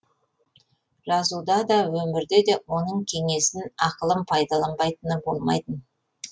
жазуда да өмірде де оның кеңесін ақылын пайдаланбайтыны болмайтын